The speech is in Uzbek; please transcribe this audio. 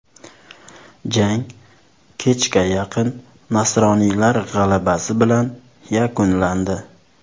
Jang kechga yaqin nasroniylar g‘alabasi bilan yakunlandi.